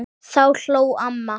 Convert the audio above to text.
Þá hló amma.